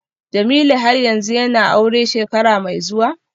Jamiu har yanzu yana aure shekara mai zuwa?